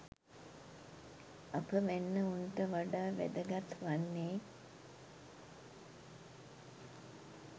අප වැන්නවුන්ට වඩා වැදගත් වන්නේ